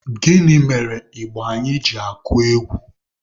Gịnị mere ịgba anyị ji akụ egwu?